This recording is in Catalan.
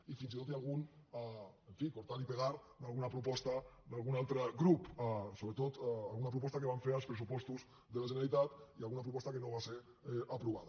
i fins i tot hi ha algun en fi cortar y pegar d’alguna proposta d’algun altre grup sobretot alguna proposta que vam fer als pressupostos de la generalitat i alguna proposta que no va ser aprovada